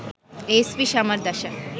SP Samaradasa